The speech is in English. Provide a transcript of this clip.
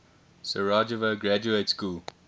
sarajevo graduate school